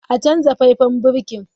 A canza faifan birki!